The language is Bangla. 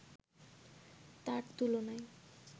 তার তুলনায়